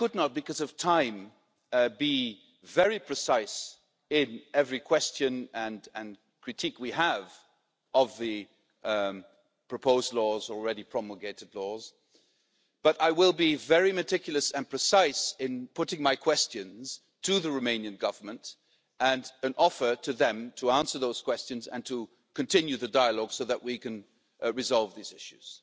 Because of time, I could not be precise on every question and critique we have on the proposed and already promulgated laws, but I will be very meticulous and precise in putting my questions to the Romanian Government, and in inviting them to answer those questions and to continue the dialogue so that we can resolve these issues.